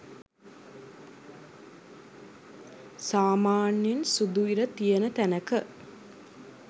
සාමාන්‍යයෙන් සුදු ඉර තියෙන තැනක